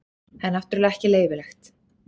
Það er náttúrulega ekki leyfilegt.